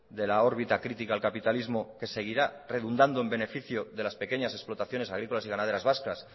de la órbita crítica al capitalismo que seguirá redundando en beneficio de las pequeñas explotaciones agrícolas y ganaderas vascas